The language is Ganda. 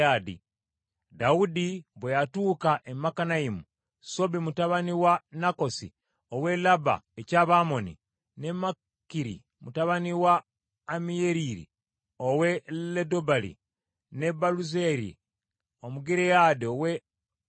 Dawudi bwe yatuuka e Makanayimu, Sobi mutabani wa Nakasi ow’e Labba eky’Abamoni, ne Makiri mutabani wa Ammiyeri ow’e Lodebali, ne Baluzirayi Omugireyaadi ow’e Logerimu,